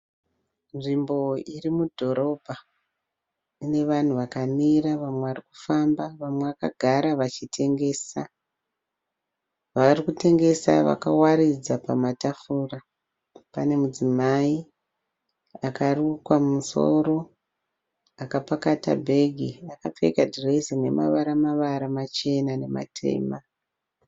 Nzimbo iri mudhorobha ine vanhu vakamira wamwe varikufamba wamwe wakagara wachitengesa. Warikutengesa wakavaridza pamatafura pane mudzimai akarukwa mumusoro akapakata bhegi akapfeka dhirezi rinemawara mawara Machena namatema